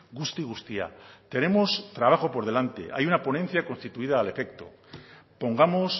guzti guztia tenemos trabajo por delante hay una ponencia constituida al efecto pongamos